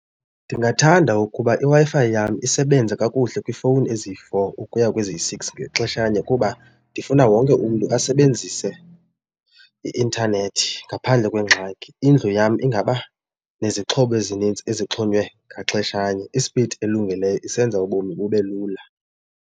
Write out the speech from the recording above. Ndingathanda ukuba iWi-Fi yam isebenze kakuhle kwiifowuni eziyi-four ukuya kweziyi-six ngexeshanye kuba ndifuna wonke umntu asebenzise i-intanethi ngaphandle kweengxaki. Indlu yam ingaba nezixhobo ezininzi ezixhonywe ngaxeshanye. Ispidi elungileyo isenza ubomi bube lula.